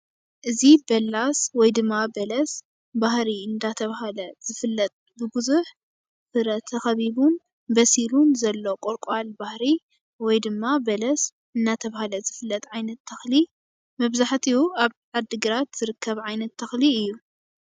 እዚ በላስ ወይ ድማ በለስ ባህሪ እንዳተባህለ ዝፍለጥ ብብዙሕ ፍረ ተከቢቡን በሲሉን ዘሎ ቆልቋል ባህሪ ወይ ድማ በለስ እናተባህለ ዝፍለጥ ዓይነት ተኽሊ መብዛሕትኡ ኣብ ዓዲ ግራት ዝርከብ ዓይነት ተክሊ እዩ፡፡